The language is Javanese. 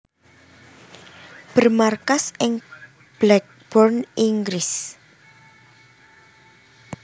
Bermarkas ing Blackburn Inggris